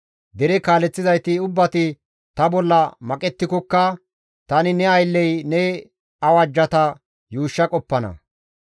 Dere kaaleththizayti ubbati ta bolla maqettikokka tani ne aylley ne awajjata yuushsha qoppana.